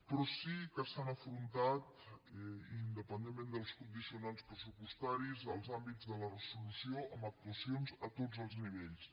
però sí que s’han afrontat independentment dels condicionants pressupostaris els àmbits de la resolució amb actuacions a tots els nivells